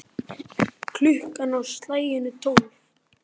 Klukkan á slaginu tólf.